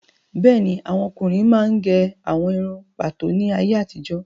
Bẹ́ẹ̀ni, àwọn ọkùnrin máa ń gẹ àwọn irun pàtó ní ayé àtijó